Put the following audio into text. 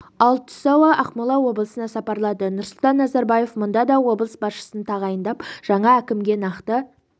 ал түс ауа ақмола облысына сапарлады нұрсұлтан назарбаев мұнда да облыс басшысын тағайындап жаңа әкімге нақты